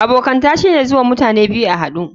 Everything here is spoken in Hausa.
Abokanta shine zuwan mutane biyu a hadu.